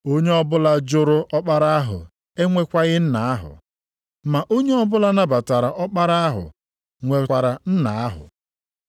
Onye ọbụla jụrụ Ọkpara ahụ enwekwaghị Nna ahụ; ma onye ọbụla nabatara Ọkpara ahụ nwekwara Nna ahụ.